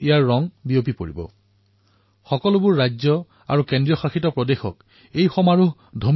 ইয়াৰ ৰং দেশতেই নহয় সমগ্ৰ বিশ্বতে প্ৰসাৰিত হব